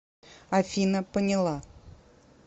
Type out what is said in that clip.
афина поняла